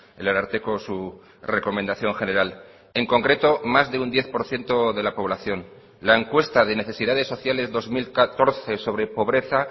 el ararteko su recomendación general en concreto más de un diez por ciento de la población la encuesta de necesidades sociales dos mil catorce sobre pobreza